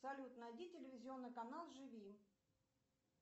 салют найди телевизионный канал живи